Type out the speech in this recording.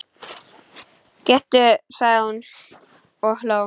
Gettu sagði hún og hló.